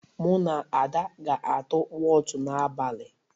Mụ na Ada ga-atụ wọt n'abalị.